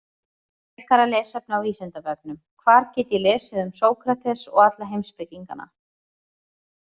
Frekara lesefni á Vísindavefnum: Hvar get ég lesið um Sókrates og alla heimspekingana?